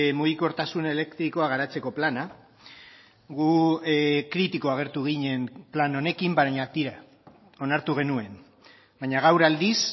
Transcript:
mugikortasun elektrikoa garatzeko plana gu kritiko agertu ginen plan honekin baina tira onartu genuen baina gaur aldiz